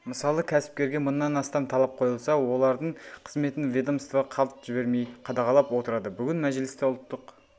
мысалы кәсіпкерге мыңнан астам талап қойылса олардың қызметін ведомство қалт жібермей қадағалап отырады бүгін мәжілісте ұлттық